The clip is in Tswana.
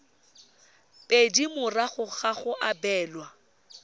pedi morago ga go abelwa